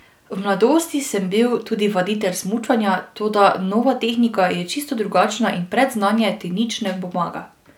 V mladosti sem bil tudi vaditelj smučanja, toda nova tehnika je čisto drugačna in predznanje ti nič ne pomaga.